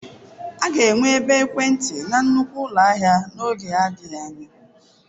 A ga-enwe ebe ekwentị na nnukwu ụlọ ahịa n'oge adịghị anya.